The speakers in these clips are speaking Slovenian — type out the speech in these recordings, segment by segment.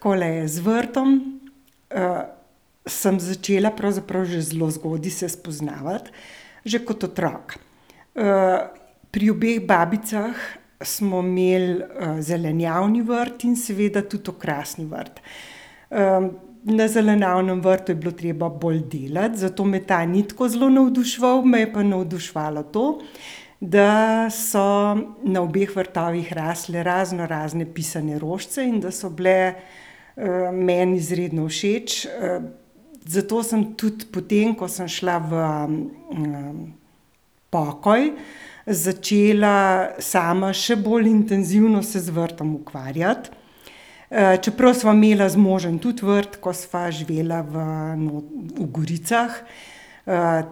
Takole je, z vrtom, sem začela pravzaprav že zelo zgodaj se spoznavati. Že kot otrok. pri obeh babicah smo imeli, zelenjavni vrt in seveda tudi okrasni vrt. na zelenjavnem vrtu je bilo treba bolj delati, zato me ta ni tako zelo navduševal, me je pa navduševalo to, da so na obeh vrtovih rasle raznorazne pisane rožice in da so bile, meni izredno všeč, zato sem tudi, potem ko sem šla v, pokoj, začela sama še bolj intenzivno se z vrtom ukvarjati. čeprav sva imela z možem tudi vrt, ko sva živela v v Goricah,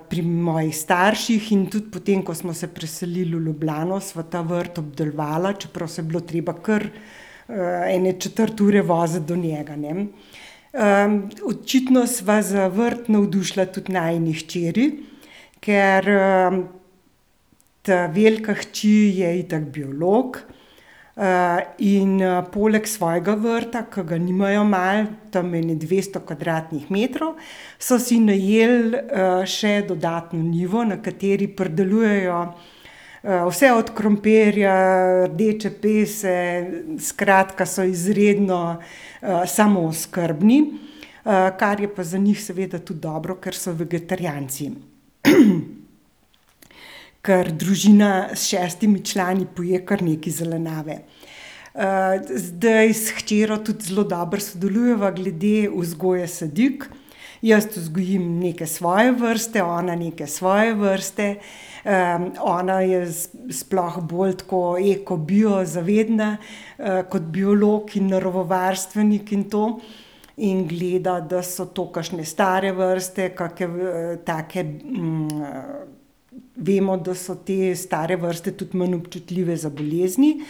pri mojih starših in tudi potem, ko smo se preselil v Ljubljano, sva ta vrt obdelovala, čeprav se je bilo treba kar, ene četrt ure voziti do njega, ne. očitno sva za vrt navdušila tudi najini hčeri, ker, ta velika hči je itak biolog, in, poleg svojega vrta, ki ga nimajo malo, tam ene dvesto kvadratnih metrov, so si najeli, še dodatno njivo, na kateri pridelujejo, vse od krompirja, rdeče pese, skratka, so izredno, samooskrbni, kar je pa za njih seveda tudi dobro, ker so vegetarijanci. Ker družina s šestimi člani poje kar nekaj zelenjave. zdaj s hčerjo tudi zelo dobro sodelujeva glede vzgoje sadik. Jaz vzgojim neke svoje vrste, ona neke svoje vrste. ona je sploh bolj tako eko, bio zavedna, kot biolog in naravovarstvenik in to. In gleda, da so to kakšne stare vrste, kake, take, vemo, da so te stare vrste tudi manj občutljive za bolezni,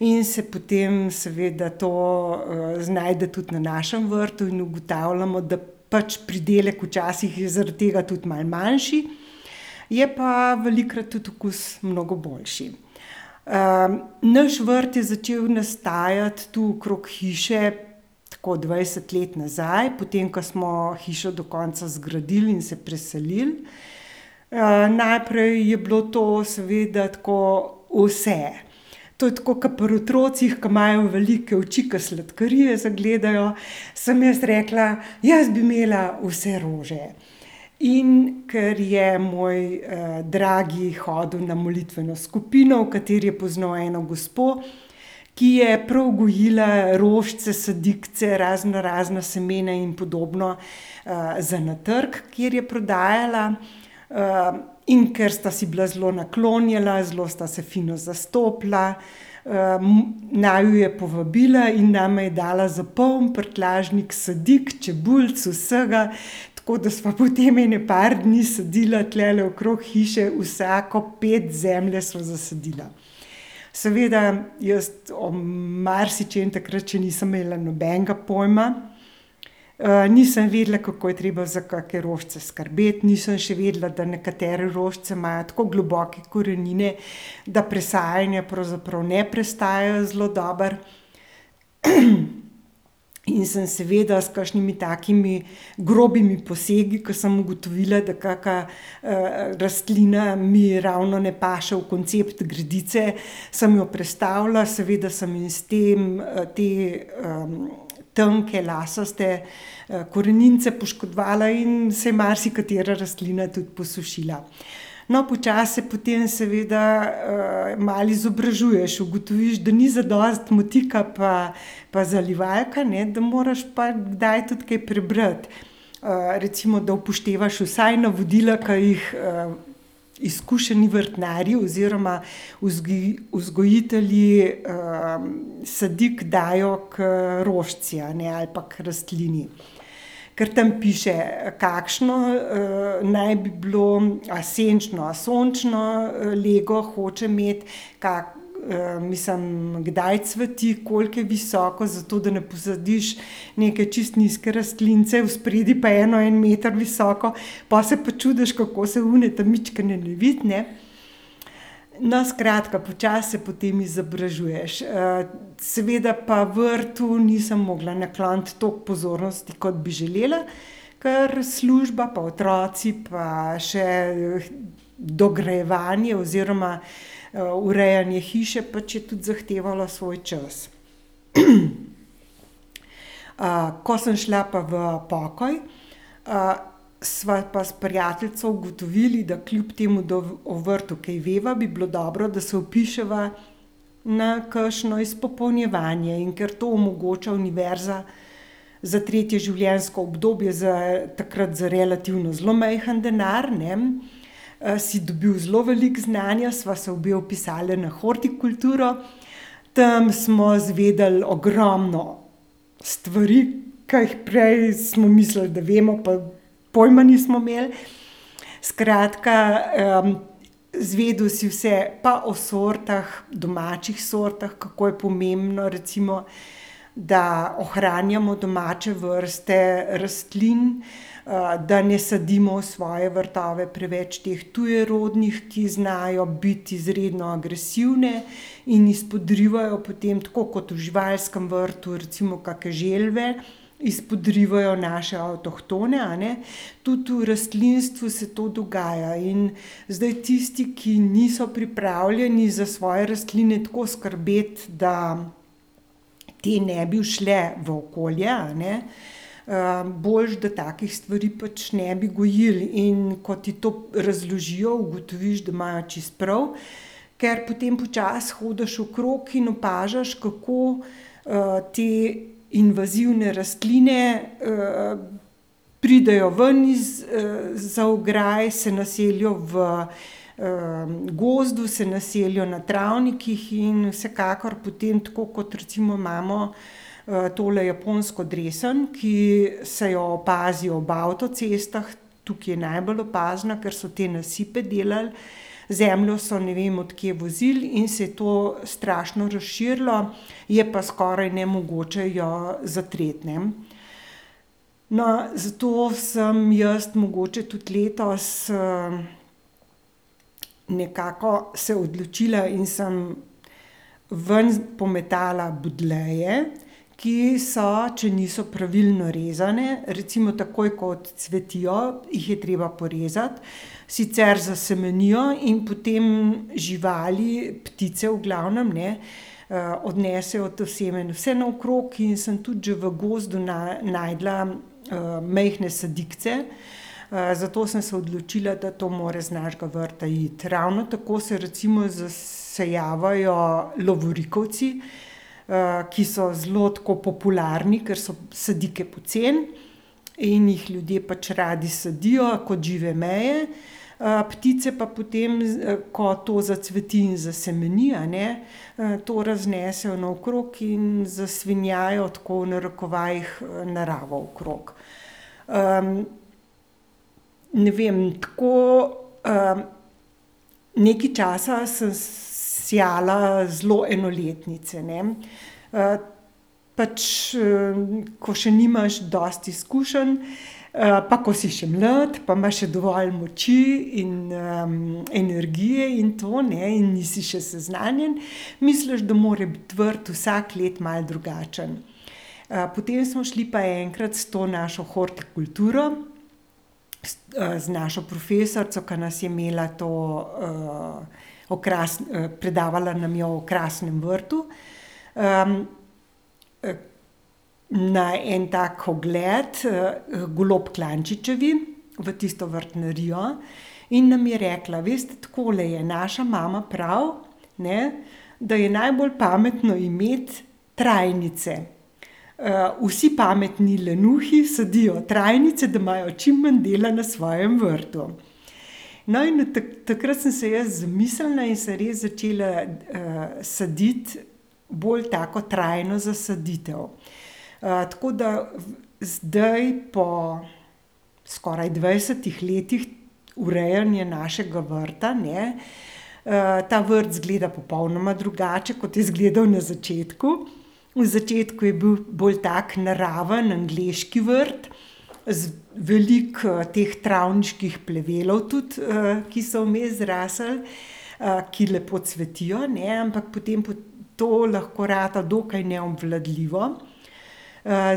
in se potem seveda to, znajde tudi na našim vrtu in ugotavljamo, da pač pridelek včasih zaradi tega tudi malo manjši. Je pa velikokrat tudi okus mnogo boljši. naš vrt je začel nastajati tu okrog hiše tako dvajset let nazaj, potem ko smo hišo do konca zgradili in se preselil. najprej je bilo to seveda tako vse. To je tako, kot pri otrocih, ki imajo velike oči, ke sladkarije zagledajo, sem jaz rekla: "Jaz bi imela vse rože." In ker je moj, dragi hodil na molitveno skupino, v kateri je poznal eno gospo, ki je prav gojila rožice, sadikice, raznorazna semena in podobno, za na trg, kjer je prodajala. in ker sta si bila zelo naklonjena, zelo sta se fino zastopila, naju je povabila in nama je dala za poln prtljažnik sadik, čebulic, vsega, tako da sva potem ene par dni sadila tulele okrog hiše. Vsako ped zemlje sva zasadila. Seveda jaz o marsičem takrat še nisem imela nobenega pojma. nisem vedela, kako je treba za kake rožice skrbeti, nisem še vedela, da nekatere rožice imajo tako globoke korenine, da presajanja pravzaprav ne prestajajo zelo dobro. In sem seveda s kakšnimi takimi grobimi posegi, ko sem ugotovila, da kaka, rastlina mi ravno ne paše v koncept gredice, sem jo prestavila, seveda sem ji s tem, te, tanke lasaste, koreninice poškodovala in se je marsikatera rastlina tudi posušila. No, počasi se potem seveda, malo izobražuješ, ugotoviš, da ni zadosti motika pa, pa zalivalka, ne, da moraš pa kdaj tudi kaj prebrati. recimo, da upoštevaš vsaj navodila, ki jih, izkušeni vrtnarji oziroma vzgojitelji, sadik dajo k rožici, a ne, ali pa k rastlini. Ker tam piše, kakšno, naj bi bilo, ali senčno a sončno, lego hoče imeti. mislim kdaj cveti, koliko je visoko, zato da ne posadiš neke čisto nizke rastlinice vspredaj pa eno en meter visoko, pol se pa čudiš, kako se one ta majčkene ne vidi, ne. No, skratka počasi se potem izobražuješ. seveda pa vrtu nisem mogla nakloniti toliko pozornosti, kot bi želela. Kar služba pa otroci pa še dograjevanje oziroma, urejanje hiše pač je tudi zahtevalo svoj čas. ko sem šla pa v pokoj, sva pa s prijateljico ugotovili, da kljub temu, da o vrtu kaj veva, bi bilo dobro, da se vpiševa na kakšno izpopolnjevanje, in ker to omogoča Univerza za tretje življenjsko obdobje za takrat za relativno zelo majhen denar, ne. si dobil zelo veliko znanja, sva se obe vpisali na hortikulturo, tam smo izvedeli ogromno stvari, ki jih prej smo mislili, da vemo, pa pojma nismo imeli, skratka, izvedel si vse, pa o sortah, domačih sortah, kako je pomembno recimo, da ohranjamo domače vrste rastlin, da ne sadimo v svoje vrtove preveč teh tujerodnih, ki znajo biti izredno agresivne in izpodrivajo potem tako kot v živalskem vrtu, recimo kake želve, izpodrivajo naše avtohtone, a ne, tudi v rastlinstvu se to dogaja in zdaj tisti, ki niso pripravljeni za svoje rastline tako skrbeti, da te ne bi ušle v okolje, a ne. boljše, da takih stvari pač ne bi gojili, in ko ti to razložijo, ugotoviš, da imajo čisto prav. Ker potem počasi hodiš okrog in opažaš, kako, te invazivne rastline, pridejo ven iz, za ograj, se naselijo v, gozdu, se naselijo na travnikih in vsekakor potem, tako kot recimo imamo, tole japonsko dresen, ki se jo opazi ob avtocestah, tukaj je najbolj opazna, ker so te nasipe delali. Zemljo so, ne vem od kje vozili, in se je to strašno razširilo. Je pa skoraj nemogoče jo zatreti, ne. No, zato sem jaz mogoče tudi letos, nekako se odločila in sem ven pometala budleje, ki so, če niso pravilno rezane, recimo, takoj ko odcvetijo, jih je treba porezati, sicer zasemenijo in potem živali, ptice v glavnem, ne, odnesejo to seme vse naokrog in sem tudi že v gozdu našla, majhne sadikice, zato sem se odločila, da to mors z našega vrta iti, ravno tako se recimo zasajajo lovorikovci, ki so zelo tako popularni, ker so sadike poceni in jih ljudje pač radi sadijo kot žive meje. ptice pa potem, ko to zacveti in zasemeni, a ne, to raznesejo naokrog in zasvinjajo tako v narekovajih, naravo okrog. ne vem, tako, nekaj časa sem sejala zelo enoletnice, ne, pač, ko še nimaš dosti izkušenj, pa ko si še mlad, pa imaš še dovolj moči in, energije in to, ne, in nisi še seznanjen, misliš, da more biti vrt vsako leto malo drugačen. potem smo šli pa enkrat s to našo hortikulturo z našo profesorico, ko nas je imela to, predavala nam je o okrasnem vrtu, na en tak ogled h Golob Klančičevi v tisto vrtnarijo in nam je rekla: "Veste, takole je, naša mama pravi, ne, da je najbolj pametno imeti trajnice. vsi pametni lenuhi sadijo travnice, da imajo čim manj dela na svojm vrtu." No, in od takrat sem se jaz izmislila in sem res začela, saditi bolj tako trajno zasaditev. tako da zdaj po skoraj dvajsetih letih urejanja našega vrta, ne, ta vrt izgleda popolnoma drugače, kot je izgledal na začetku. V začetku je bil bolj tako naraven angleški vrt veliko, teh travniških plevelov tudi, ki so vmes zrasli. ki lepo cvetijo, ne, ampak potem to lahko rata dokaj neobvladljivo.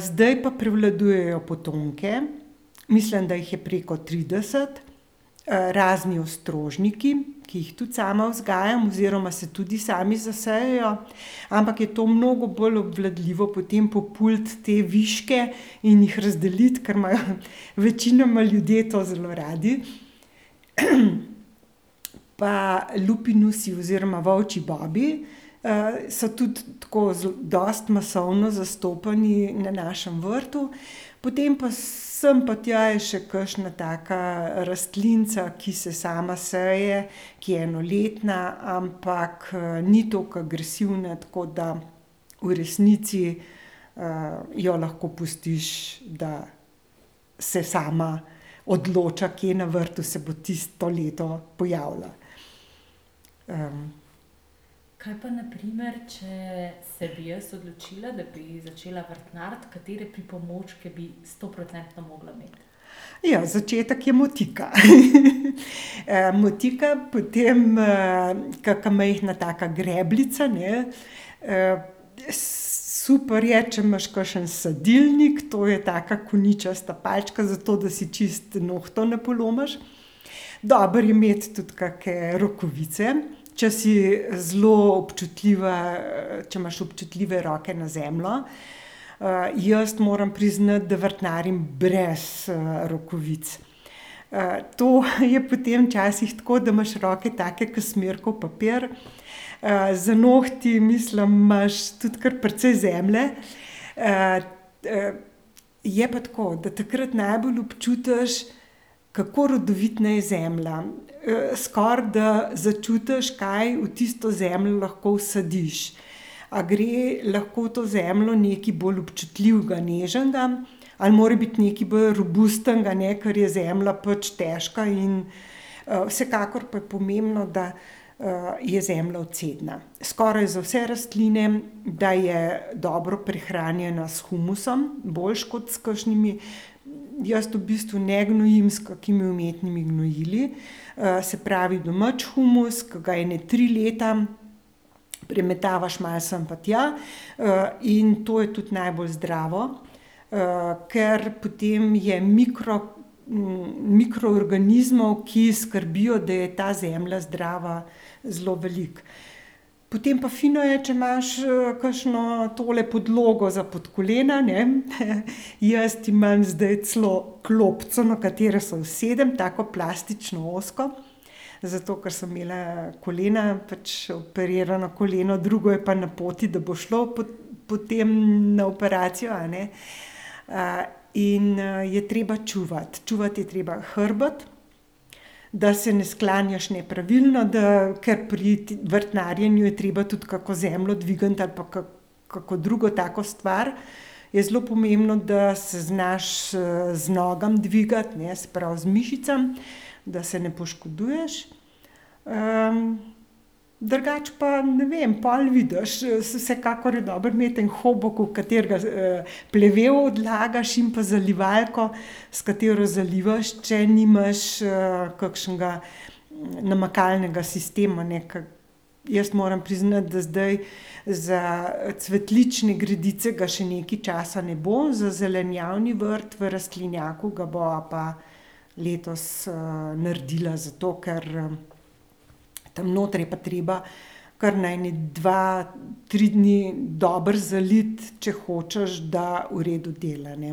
zdaj pa prevladujejo potonike, mislim, da jih je preko trideset, razni ostrožniki, ki jih tudi sama vzgajam, oziroma se tudi sami zasejajo, ampak je to mnogo bolj obvladljivo potem populiti te viške in jih razdeliti, ker imajo večinoma ljudje to zelo radi. Pa lupinusi oziroma volčji bobi, so tudi tako dosti masovno zastopani na našem vrtu. Potem pa sem pa tja je še kakšna taka rastlinica, ko se sama seje, ki je enoletna, ampak, ni toliko agresivna, tako da v resnici, jo lahko pustiš, da se sama odloča, kje na vrtu se bo tisto leto pojavila. Ja, začetek je motika , motika potem, kaka majhna taka grebljica, ne, super je, če imaš kakšen sadilnik, to je taka koničasta palčka, zato da si čisto nohtov ne polomiš. Dobro je imeti tudi kake rokavice. Če si zelo občutljiva, če imaš občutljive roke na zemljo. jaz moram priznati, da vrtnarim brez, rokavic. to je potem včasih tako, da imaš roke take kot smirkov papir, za nohti mislim imaš tudi kar precej zemlje, je pa tako, da takrat najbolj občutiš, kako rodovitna je zemlja. skoraj, da začutiš, kaj v tisto zemljo lahko vsadiš. A gre lahko v to zemljo nekaj bolj občutljivega, nežnega ali mora biti nekaj bolj robustnega, ne, ker je zemlja pač težka in, vsekakor pa je pomembno, da, je zemlja odcedna. Skoraj za vse rastline, da je dobro prehranjena s humusom, boljše kot s kakšnimi, jaz v bistvu ne gnojim s kakimi umetnimi gnojili, se pravi domači humus, ke ga ene tri leta premetavaš malo sem pa tja, in to je tudi najbolj zdravo. ker potem je mikro, mikroorganizmov, ki skrbijo, da je ta zemlja zdrava, zelo veliko. Potem pa fino je, če imaš, kakšno tole podlogo za pod kolena, ne , jaz imam zdaj celo klopico, na katero se usedem, tako plastično ozko. Zato ker sem imela kolena pač operirano koleno, drugo je pa na poti, da bo šlo pod potem na operacijo, a ne. in, je treba čuvati, čuvati je treba hrbet, da se ne sklanjaš nepravilno, da ker pri vrtnarjenju je treba tudi kako zemljo dvigniti ali pa kako drugo tako stvar. Je zelo pomembno, da se znaš, z nogami dvigati, ne, se pravi z mišicami. Da se ne poškoduješ. drugače pa, ne vem, pol vidiš saj vsekakor je dobro imeti en hobuk, v katerega plevel odlagaš, in pa zalivalko, s katero zalivaš, če nimaš, kakšnega, namakalnega sistema, ne, ke jaz moram priznati, da zdaj za cvetlične gredice ga še nekaj časa ne bo, za zelenjavni vrt v rastlinjaku ga bova pa letos, naredila, zato ker, tam noter je pa treba kar na ene dva, tri dni dobro zaliti, če hočeš, da v redu dela, ne.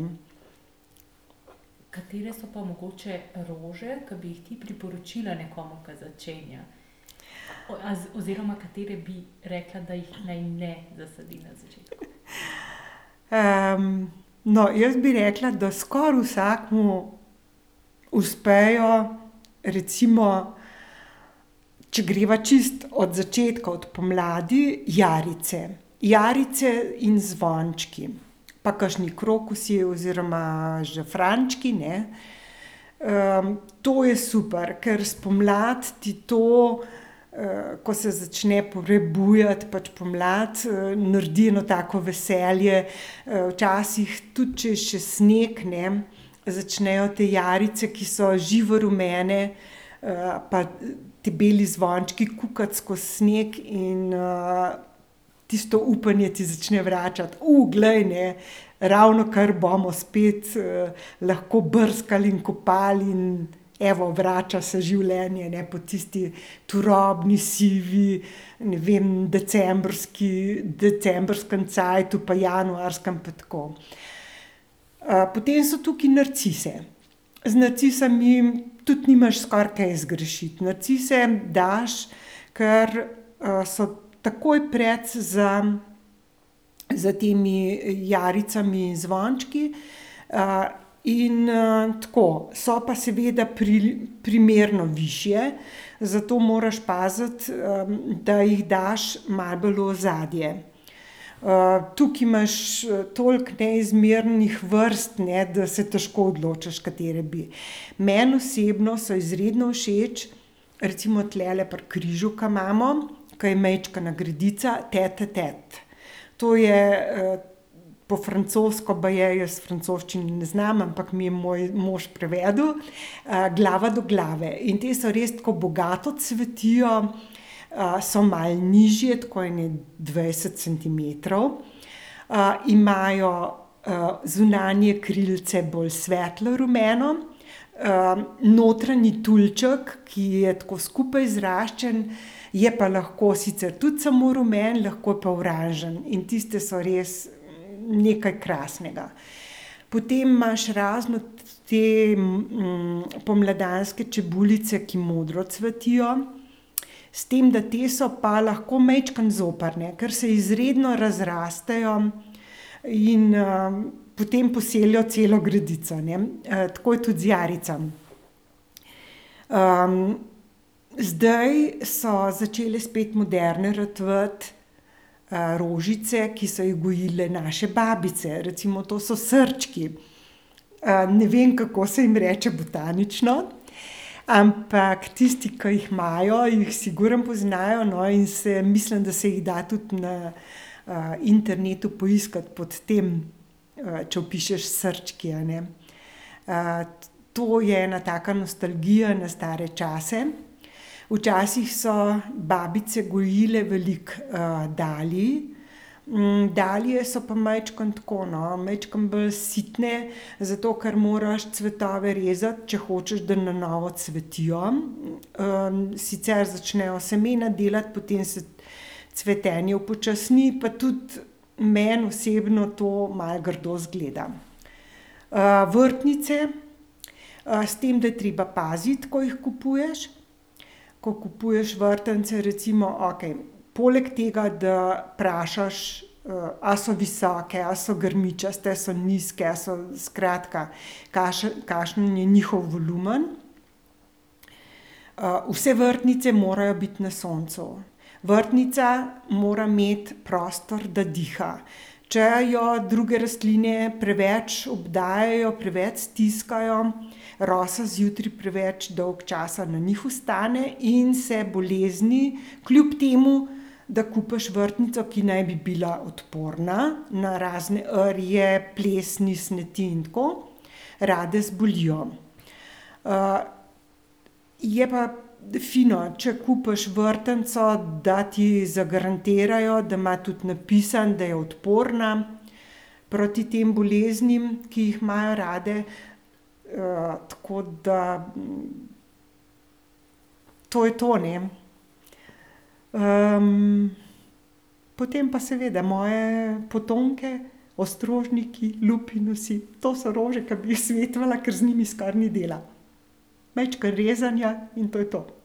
no, jaz bi rekla, da skoraj vsakemu uspejo recimo, če greva čisto od začetka, od pomladi, jarice. Jarice in zvončki. Pa kakšni krokusi oziroma žafrančki, ne. to je super, ker spomladi ti to, ko se začne prebujati pač pomlad, naredi eno tako veselje, včasih tudi, če je še sneg, ne, začnejo te jarice, ki so živo rumene, pa ti beli zvončki kukat skoz snega in, tisto upanje ti začne vračati, glej, ne. Ravnokar bomo spet, lahko brskali in kopali, evo vrača se življenje, ne, po tisti turobni, sivi, ne vem decembrski, decembrskem cajtu pa januarskem pa tako. potem so tukaj narcise. Z narcisami tudi nimaš skoraj kaj zgrešiti, narcise daš, ker, so takoj precej za, za temi jaricami in zvončki, in, tako so pa seveda primerno višje, zato moraš paziti, da jih daš malo bolj v ozadje. tukaj imaš, toliko neizmernih vrst, ne, da se težko odločiš, katere bi. Meni osebno so izredno všeč recimo tulele pri križu, ke imamo, ke je majčkena gredica tetetet. To je, po francosko baje, jaz francoščine ne znam, ampak mi je moj mož prevedel, glava do glave in te so res tako bogato cvetijo, so malo nižje tako ene dvajset centimetrov, imajo, zunanje krilce bolj svetlo rumeno, notranji tulček, ki je tako skupaj zraščen, je pa lahko sicer tudi samo rumen, lahko pa oranžen in tiste so res nekaj krasnega. Potem imaš razno te, pomladanske čebulice, ki modro cvetijo. S tem da te so pa lahko majčkeno zoprne, ker se izredno razrastejo in, potem poselijo celo gredico, ne, tako je tudi z jaricam. zdaj so začele spet moderne ratovati, rožice, ki so jih gojile naše babice, recimo to so srčki. ne vem, kako se jim reče botanično, ampak tisti, ke jih imajo, jih sigurno poznajo, no, in mislim, da se jih da tudi na, internetu poiskati pod tem, če vpišeš srčki, a ne. to je ena taka nostalgija na stare čase. Včasih so babice gojile veliko, dalij, dalije so pa majčkeno tako, no, majčkeno bolj sitne, zato ker moraš cvetove rezati, če hočeš, da na novo cvetijo. sicer začnejo semena delati, potem se cvetenje upočasni pa tudi meni osebno to malo grdo izgleda. vrtnice, s tem, da je treba paziti, ko jih kupuješ. Ko kupuješ vrtnice recimo, okej, poleg tega, da vprašaš, a so visoke, a so grmičaste, a so nizke, a so skratka, kakšen je njihov volumen. vse vrtnice morajo biti na soncu. Vrtnica mora imeti prostor, da diha. Če jo druge rastline preveč obdajajo, preveč stiskajo, rosa zjutraj preveč dolgo časa na njih ostane, in se bolezni, kljub temu da kupiš vrtnico, ki naj bi bila odporna na razne rje, plesni, smeti in tako, rade zbolijo. je pa fino, če kupiš vrtnico, da ti zagarantirajo, da ima tudi napisano, da je odporna proti tem boleznim, ki jih imajo radi. tako da, To je to, ne. potem pa seveda moje potonike, ostrožniki, lupinusi, to so rože, ki bi jih svetovala, ker z njimi skoraj ni dela. Majčkeno rezanja in to je to.